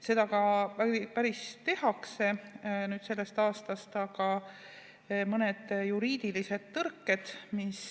Seda ka tehakse sellest aastast, aga on mõned juriidilised tõrked.